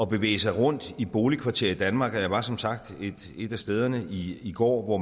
bevæge sig rundt i boligkvarterer i danmark jeg var som sagt et af stederne i i går hvor